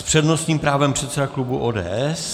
S přednostním právem předseda klubu ODS.